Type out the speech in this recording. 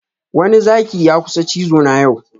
Wani Zaki ya kusa cizo na yau